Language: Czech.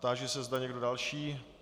Táži se, zda někdo další.